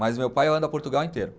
Mas meu pai anda Portugal inteiro.